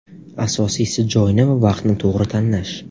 Asosiysi joyni va vaqtni to‘g‘ri tanlash.